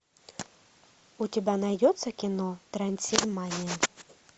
у тебя найдется кино трансильмания